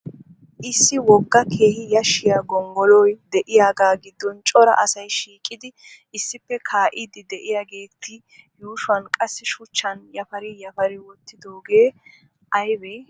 Issi wogga keehi yashshiya gonggoloy de'iyagaa giddon cora asay shiiqidi issippe kaa'iiddi diyageeti yuushuwan qassi shuchchan yapari yapari wottidooge ayibbe?